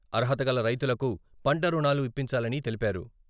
అర్హతగల రైతులకు పంట రుణాలు ఇప్పించాలని తెలిపారు.